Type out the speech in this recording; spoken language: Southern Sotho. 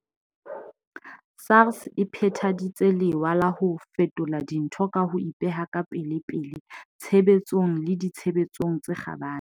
SARS e phethaditse lewa la ho fetola dintho ka ho ipeha ka pelepele tshebetsong le ditshebeletsong tse kgabane.